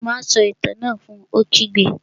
Má a sọ Itàn náà fun! Ó kígbe